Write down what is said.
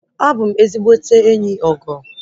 Abụ m ezigbote enyi Ogo